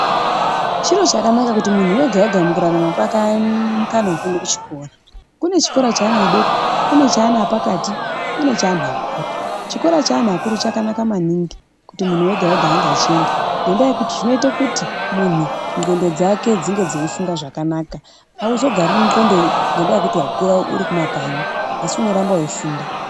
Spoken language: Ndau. Chiro chakanaka kuti munhu wega-wega mukurarama kwake aone mukana wekuenda kuchikora. Kune chikora cheana adoko, kune chikora cheana epakati kune cheanhu akuru. Chikora cheanhu akuru chakanaka maningi kuti munhu wega-wega ange achienda ngendaa yekuti zvinoita munhu ndxondo dzake dzinge dzeifunga zvakanaka auzogariri ndxondo ngendaa yekuti wakura uri kumakanyi asi unoramba weifunda.